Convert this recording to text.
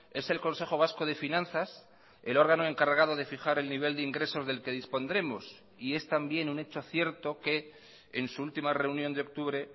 es el consejo vasco de finanzas el órgano encargado de fijar el nivel de ingresos del que dispondremos y es también un hecho cierto que en su última reunión de octubre